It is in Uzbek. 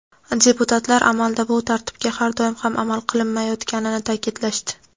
deputatlar amalda bu tartibga har doim ham amal qilinmayotganini ta’kidlashdi.